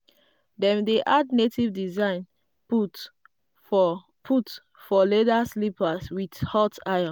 dem dey add native design put for put for leather slipper with hot iron.